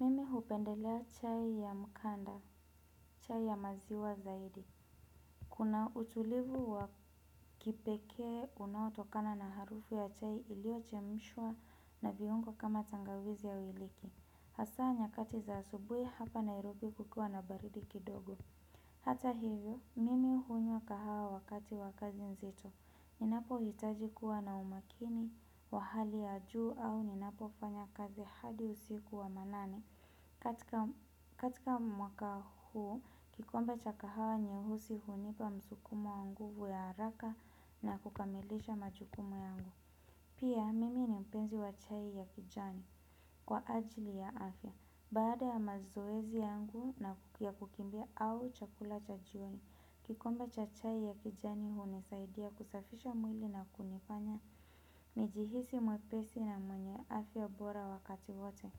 Mimi hupendelea chai ya mkanda, chai ya maziwa zaidi. Kuna utulivu wa kipekee unao tokana na harufu ya chai ilio chemshwa na viungo kama tangawizi au iliki. Hasa nyakati za asubui hapa Nairobi kukiwa na baridi kidogo. Hata hivyo, mimi unywa kahawa wakati wa kazi nzito. Ninapo hitaji kuwa na umakini wa hali ya juu au ninapo fanya kazi hadi usiku wa manane katika mwaka huu kikombe cha kahawa nyeusi unipa msukumo wa nguvu ya haraka na kukamilisha majukumu yangu. Pia mimi ni mpenzi wa chai ya kijani kwa ajili ya afya. Baada ya mazoezi yangu ya kukimbia au chakula cha jioni kikombe cha chai ya kijani unisaidia kusafisha mwili na kunifanya nijihisi mwepesi na mwenye afya bora wakati wote.